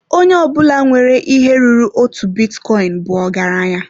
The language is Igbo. Onye ọbụla nwere ihe ruru otu bitcoin bụ ọgaranya.